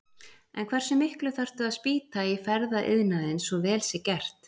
En hversu miklu þarf að spýta í ferðaiðnaðinn svo vel sé gert?